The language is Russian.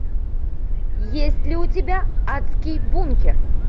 есть ли у тебя адский бункер